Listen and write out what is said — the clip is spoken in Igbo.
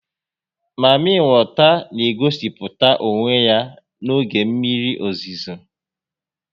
Mami weta n'egosịpụta onwe ya n'oge mmiri ozizo